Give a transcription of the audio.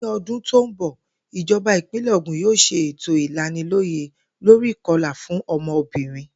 Ní o̩dún tó ń bò̩, ìjo̩ba ìpínlè̩ Ògùn yóò s̩e ètò ìlaniló̩yè̩ lórí ìko̩là fún o̩mo̩bìnrin